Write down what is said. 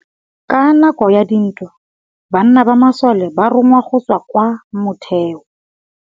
Ka nakô ya dintwa banna ba masole ba rongwa go tswa kwa mothêô.